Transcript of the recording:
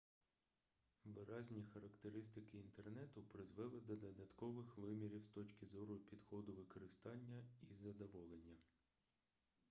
виразні характеристики інтернету призвели до додаткових вимірів з точки зору підходу використання і задоволення